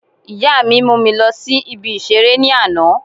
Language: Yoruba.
Ìyá mi mú mi lọ sí ibi ìseré ní àná